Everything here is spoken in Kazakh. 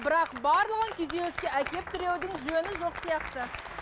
бірақ барлығын күйзеліске әкеліп тіреудің жөні жоқ сияқты